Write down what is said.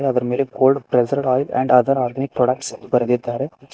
ಇದರ್ ಮೇಲೆ cold pressed oil and other organic products ಅಂತ ಬರೆದಿದ್ದರೆ.